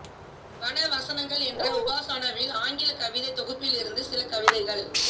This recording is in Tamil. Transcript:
வன வசனங்கள் என்ற உபாசனாவின் ஆங்கில கவிதைத் தொகுப்பிலிருந்து சில கவிதைகள்